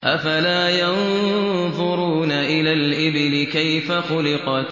أَفَلَا يَنظُرُونَ إِلَى الْإِبِلِ كَيْفَ خُلِقَتْ